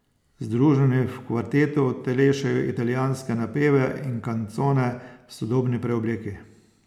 Združeni v kvartetu utelešajo italijanske napeve in kancone v sodobni preobleki.